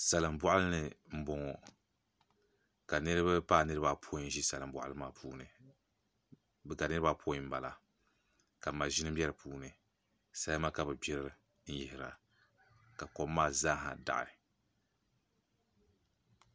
Salin boɣali ni n boŋo ka niraba paai niraba apoin n bɛ salin boɣali maa puuni ka maʒini bɛ di puuni salima ka bi gbiri n yihira ka kom maa zaaha daɣi